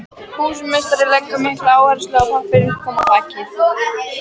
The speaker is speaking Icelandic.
Húsameistari leggur mikla áherslu á að pappinn komist á þakið.